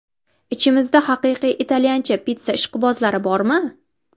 Ichimizda haqiqiy italyancha pitssa ishqibozlari bormi?